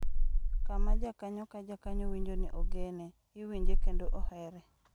Kama jakanyo ka jakanyo winjo ni ogene, iwinje kendo ohere.